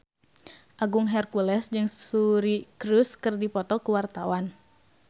Agung Hercules jeung Suri Cruise keur dipoto ku wartawan